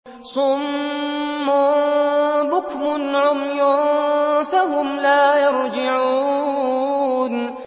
صُمٌّ بُكْمٌ عُمْيٌ فَهُمْ لَا يَرْجِعُونَ